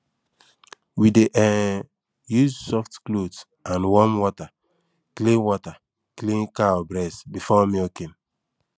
we dey um use soft cloth and warm water clean water clean cow breast before milking